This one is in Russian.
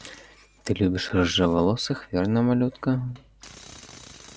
ты любишь рыжеволосых верно малютка